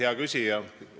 Hea küsija!